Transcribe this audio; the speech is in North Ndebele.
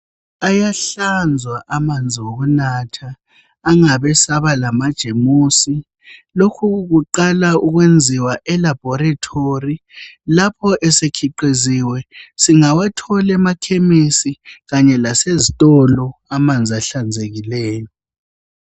Ayahlanzwa amanzi wokunatha angabi saba lamajemusi. Lokhu kuqala ukwenziwa elabhorithori. Lapho esekhiqiziwe, singawathol' emakhemisi kanye lasezitolo, amanzi ahlanzekileyo.